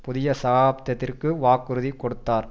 புதிய சகாப்தத்திற்கு வாக்குறுதி கொடுத்தார்